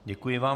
Děkuji vám.